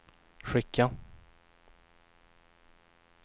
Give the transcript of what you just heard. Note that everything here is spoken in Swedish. skicka